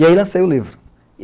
E aí lancei o livro.